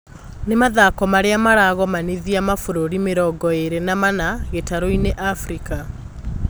Nĩ mathako marĩa maragomanithia mabũrũri mĩrongoĩrĩ na mana gĩtarũinĩ Afirika